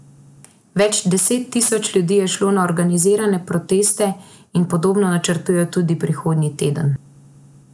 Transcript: Več deset tisoč ljudi je šlo na organizirane proteste in podobno načrtujejo tudi prihodnji teden.